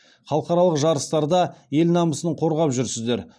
халықаралық жарыстарда ел намысын қорғап жүрсіздер